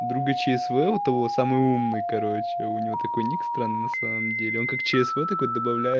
друга чсв у того самый умный короче у него такой ник странный на самом деле он как чсв добавляет